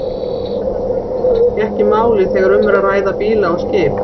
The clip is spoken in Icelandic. Þetta skiptir kannski ekki máli þegar um er að ræða bíla og skip.